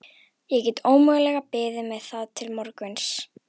Ég get ómögulega beðið með það til morguns.